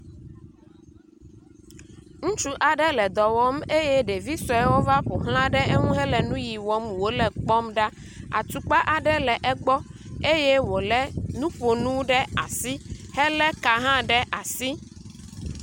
Ŋutsu aɖe le dɔ wɔm eye ɖevisuewo va ƒoxla ɖe eŋu le nuyi wɔm wo le la kpɔm ɖa. atukpa aɖe le egbɔ eye wo le nuƒonu ɖe asi hele ka hã ɖe asi.